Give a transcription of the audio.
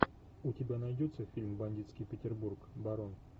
у тебя найдется фильм бандитский петербург барон